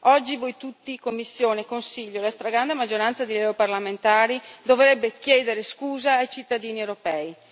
Oggi, voi tutti Commissione, Consiglio e la stragrande maggioranza dei parlamentari dovreste chiedere scusa ai cittadini europei.